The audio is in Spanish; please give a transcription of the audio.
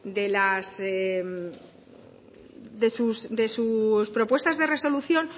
de sus propuestas de resolución